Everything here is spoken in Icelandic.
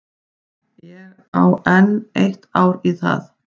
Ég á enn eitt ár í það.